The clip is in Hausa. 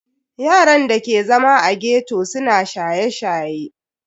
Yaran da ke zama a ghetto suna shaye-shaye.